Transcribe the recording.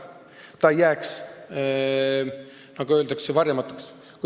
See ei jääks, nagu öeldakse, varjatuks.